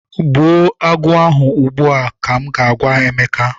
Gbagbuo agụ a ugbu a!! Ka m ga- agwa Emeka.